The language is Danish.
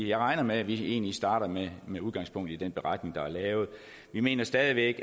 jeg regner med at vi egentlig starter med med udgangspunkt i den beretning der er lavet vi mener stadig væk